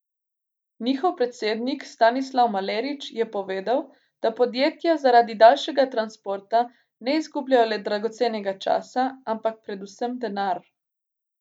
Njihov predsednik Stanislav Malerič je povedal, da podjetja zaradi daljšega transporta ne izgubljajo le dragocenega časa, ampak predvsem denar.